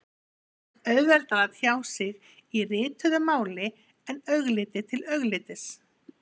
Mörgum finnst auðveldara að tjá sig í rituðu máli en augliti til auglitis.